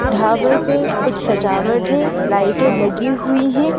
ढाबे पे कुछ सजावट है लाइटें लगी हुई हैं।